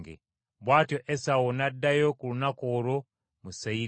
Bw’atyo Esawu n’addayo ku lunaku olwo mu Seyiri.